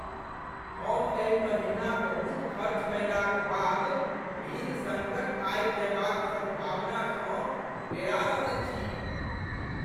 हम एहि महिना बहुत खर्च कयलाक बाद ऋण सङ्कट आबि जयबाक सम्भावनासँ डेरा रहल छी।